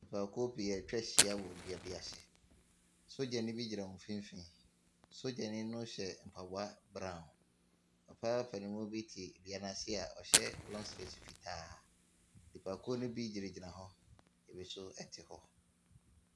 Nipakuo pii atwa ahyia wɔ dua bi ase. Sogyani bi gyina ,mfimfini. Sogyani no hyɛ mpaboa brown. Papa panin mu bi te dua no ase a ɔhyɛ long sleeves fitaa. Nipakuo no bi gyinagyina hɔ. Ɛbi nso te hɔ.